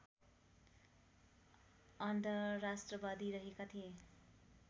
अन्धराष्ट्रवादी रहेका थिए